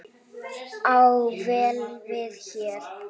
á vel við hér.